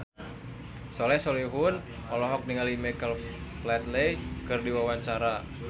Soleh Solihun olohok ningali Michael Flatley keur diwawancara